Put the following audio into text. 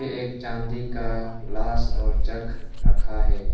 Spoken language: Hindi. एक चांदी का ग्लास और जग रखा है।